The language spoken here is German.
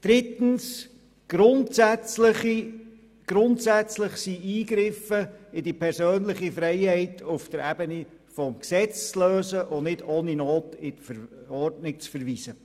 Drittens, grundsätzlich sind Eingriffe in die persönliche Freiheit auf der Ebene des Gesetzes zu lösen und nicht ohne Not in die Verordnung zu verweisen.